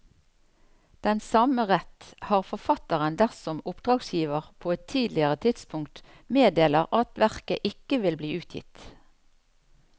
Den samme rett har forfatteren dersom oppdragsgiver på et tidligere tidspunkt meddeler at verket ikke vil bli utgitt.